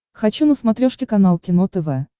хочу на смотрешке канал кино тв